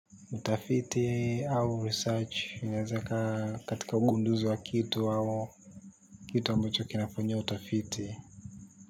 Utafiti au research inaweza ikawa katika ugunduzi wa kitu au kitu ambacho kinafanyiwa utafiti.